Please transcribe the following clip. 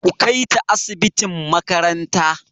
Ku kai ta asibitin makaranta!